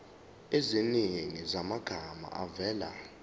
eziningi zamagama avela